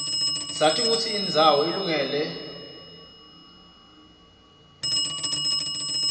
sati kutsi indzawo ilungele lwhlalwa layo